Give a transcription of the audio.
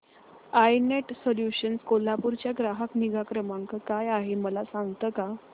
I net solutions Kolhapur चा ग्राहक निगा क्रमांक काय आहे मला सांगता का